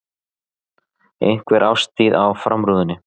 Einhver árstíð á framrúðunni.